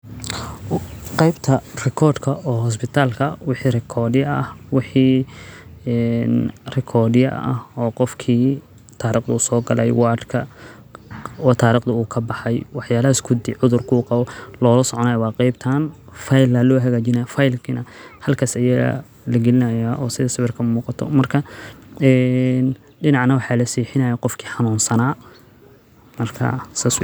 aah qaybta rikoordhka oo hosbitaal ka wixi rikoodi ah wixii, ee, rikoodiah oo qofkii taariikhdu uu soo galay waadka oo taariikhdu uu ka baxay. Waxyaalas ku dii cudurku qabow loo soconay waa qaybta file la loha gajinayo. Faylkina halkaas ay iga laginaaya oo sidis sawerka muuqato marka, ee dhinaca now xilli sii xiina ay qofkii xanuunsanaa markaa sa su'iid.